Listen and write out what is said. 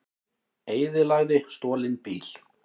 Eyðilagði stolinn bíl